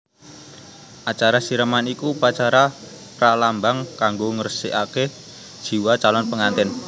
Acara siraman iku upacara pralambang kanggo ngresikaké jiwa calon pengantèn